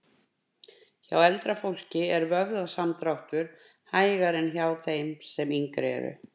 Hjá eldra fólki er vöðvasamdráttur hægari en hjá þeim sem yngri eru.